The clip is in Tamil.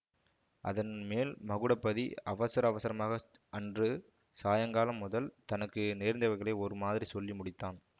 அதன் மேல் மகுடபதி அவசர அவசரமாக அன்று சாயங்காலம் முதல் தனக்கு நேர்ந்தவைகளை ஒரு மாதிரி சொல்லி முடித்தான்